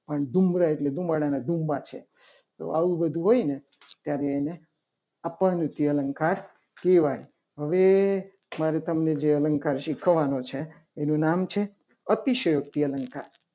પણ ધૂળના ધુમ્ર એટલે ધુમાડાના ધુમા છે. તો આવું બધું હોય ને ત્યારે એને અપૂરતી અલંકાર કહેવાય. હવે મારે તમને જે અલંકાર શીખવવાનું છે. એનું નામ છે. અતિશયોક્તિ અલંકાર